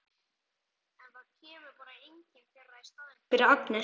En það kemur bara engin þeirra í staðinn fyrir Agnesi.